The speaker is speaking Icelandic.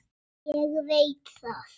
Ég veit það